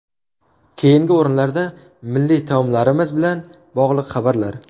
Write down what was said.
Keyingi o‘rinda milliy taomlarimiz bilan bog‘liq xabarlar .